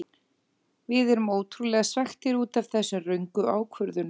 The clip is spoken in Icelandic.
Við erum ótrúlega svekktir útaf þessum röngu ákvörðunum.